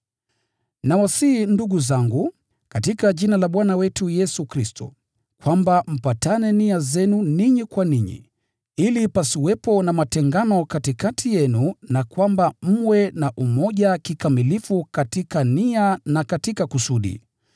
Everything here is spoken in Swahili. Nawasihi ndugu zangu, katika Jina la Bwana wetu Yesu Kristo, kwamba mpatane nia zenu ninyi kwa ninyi, ili pasiwepo na matengano katikati yenu na kwamba mwe na umoja kikamilifu katika nia na katika kusudi.